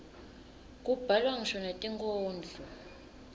kubhalwa ngisho netinkhondlo